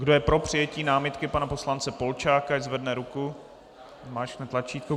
Kdo je pro přijetí námitky pana poslance Polčáka, ať zvedne ruku a zmáčkne tlačítko.